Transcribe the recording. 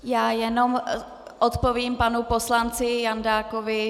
Já jen odpovím panu poslanci Jandákovi.